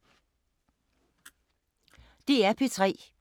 DR P3